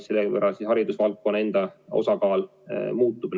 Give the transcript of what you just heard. Selle võrra haridusvaldkonna osakaal muutub.